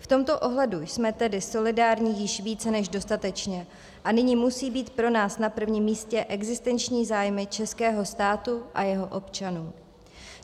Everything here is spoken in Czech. V tomto ohledu jsme tedy solidární již více než dostatečně a nyní musí být pro nás na prvním místě existenční zájmy českého státu a jeho občanů.